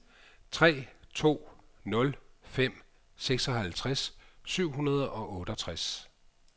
tre to nul fem seksoghalvtreds syv hundrede og otteogtres